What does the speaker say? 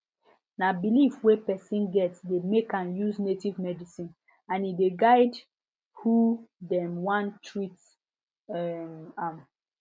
na belief wey person get dey make am use native medicine and e dey guide hoe dem wan treat um am